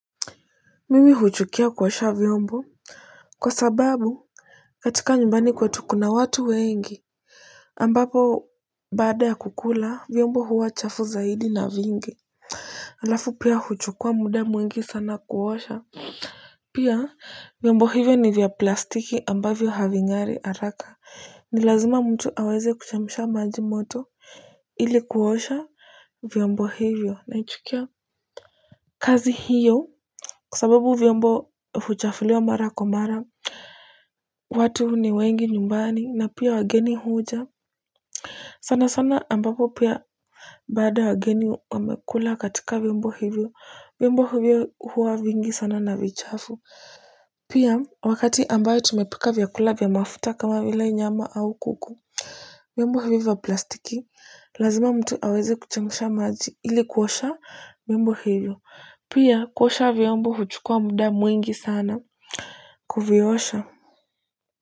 Mimi huchukia kuosha vyombo kwa sababu katika nyumbani kwetu kuna watu wengi ambapo baada ya kukula vyombo huwa chafu zaidi na vingi. Alafu pia huchukua muda mwingi sana kuosha pia vyombo hivyo ni vya plastiki ambavyo having'ari haraka ni lazima mtu aweze kuchemsha maji moto ili kuosha vyombo hivyo naichukia kazi hio kwa sababu vyombo huchafuliwa mara kwa mara watu ni wengi nyumbani na pia wageni huja sana sana ambapo pia baada wageni wamekula katika vyombo hivyo vyombo hivyo huwa vingi sana na vichafu pia wakati ambayo tumepika vyakula vya mafuta kama vile nyama au kuku. Viombo hivyo plastiki lazima mtu aweze kuchemsha maji ili kuosha viombo hivyo pia kuosha viombo huchukua muda mwingi sana. Kuviosha.